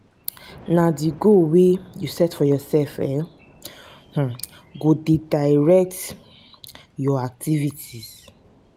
um na di goal wey you set for yoursef um [um]go dey direct your activities.